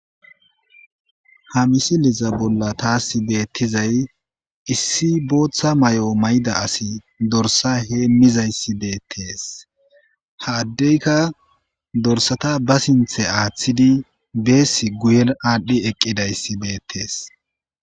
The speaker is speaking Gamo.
Ha misile bolla tassi betizayi issi botha mayo mayidda assi dorissa hemizayissi bettesi ha adeyikka dorissata ba sinithe athidi besi guye adhi eqidayisi getesi.